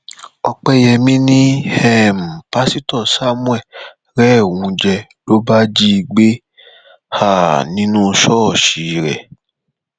ọpẹyẹmí ni um pásítọ samuel rẹ òun jẹ ló bá jí i gbé um nínú ṣọọṣì rẹ